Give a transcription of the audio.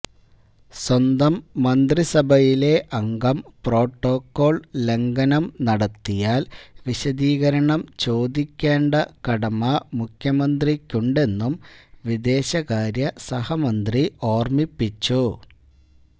സ്വന്തം മന്ത്രിസഭയിലെ അംഗം പ്രോട്ടോക്കോള് ലംഘനം നടത്തിയാല് വിശദീകരണം ചോദിക്കേണ്ട കടമ മുഖ്യമന്ത്രിക്കുണ്ടെന്നും വിദേശകാര്യ സഹമന്ത്രി ഓര്മിപ്പിച്ചു